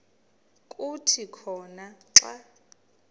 kuthi khona xa